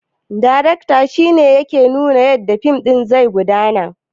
Darakta shine yake nuna yadda fim ɗin zai gudana